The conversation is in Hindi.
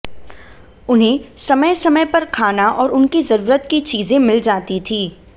उन्हें समय समय पर खाना और उनकी ज़रुरत की चीज़ें मिल जाती थीं